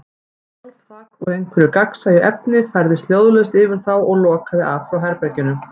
Hvolfþak, úr einhverju gagnsæju efni, færðist hljóðlaust yfir þá og lokaði af frá herberginu.